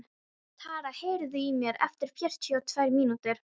Tara, heyrðu í mér eftir fjörutíu og tvær mínútur.